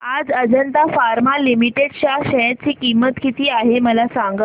आज Ajanta pharma limited च्या share ची किंमत किती आहे मला सांगा